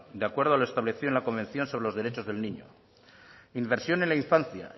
de acuerdo en a lo establecido en la convención sobre los derechos del niño inversión en la infancia